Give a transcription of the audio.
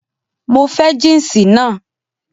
Mo fẹ́ jínsì naa